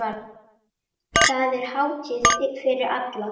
Þetta er hátíð fyrir alla.